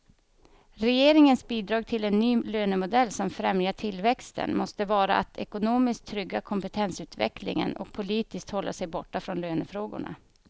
Regeringens bidrag till en ny lönemodell som främjar tillväxten måste vara att ekonomiskt trygga kompetensutvecklingen och politiskt hålla sig borta från lönefrågorna.